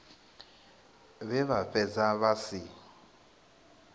vhe vha fhedza vha si